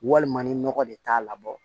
Walima ni nɔgɔ de t'a labɔ